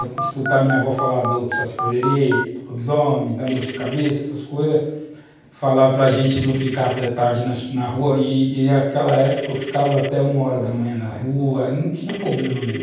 escutar a minha avó falar do saci- pererê, do lobisomem, da mula-de-cabeça, essas coisas, falar para a gente não ficar até tarde na rua, e naquela época eu ficava até uma hora da manhã na rua, não tinha problema nenhum.